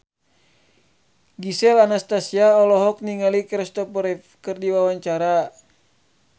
Gisel Anastasia olohok ningali Christopher Reeve keur diwawancara